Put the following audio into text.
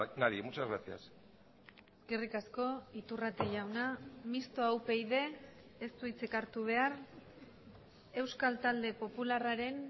nadie muchas gracias eskerrik asko iturrate jauna mistoa upyd ez du hitzik hartu behar euskal talde popularraren